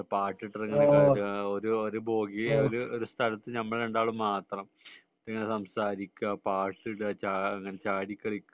പാട്ടു ഇട്ടിട്ടു ഇങ്ങനെ ഒരു ബോഗി ഒരു സ്ഥലത്തു ഇങ്ങനെ നമ്മൾ രണ്ടാളും മാത്രം ഇങ്ങനെ സംസാരിക്കുക പാട്ടു ഇടുക അങ്ങനെ ചാടി കളിക്കുക